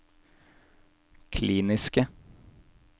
kliniske